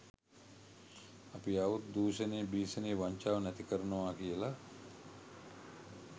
අපි ආවොත් දුෂණය භිෂණය වංචාව නැති කරනවා කියලා